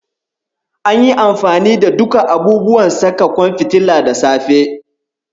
Anyi amfani da duka abubuwan saka ƙwan fitilar da safe.